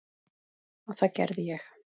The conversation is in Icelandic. Og það gerði ég.